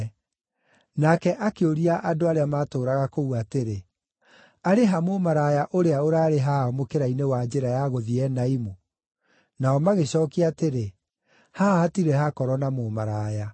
Nake akĩũria andũ arĩa maatũũraga kũu atĩrĩ, “Arĩ ha mũmaraya ũrĩa ũraarĩ haha mũkĩra-inĩ wa njĩra ya gũthiĩ Enaimu?” Nao magĩcookia atĩrĩ, “Haha hatirĩ hakorwo na mũmaraya.”